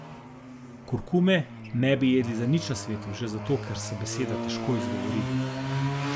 Kurkume ne bi jedli za nič na svetu, že zato ker se beseda težko izgovori.